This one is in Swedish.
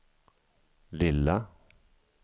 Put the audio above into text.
lilla